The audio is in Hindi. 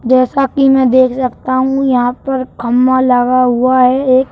जैसा कि मैं देख सकता हूं यहाँ पर खम्भा लगा हुआ है एक।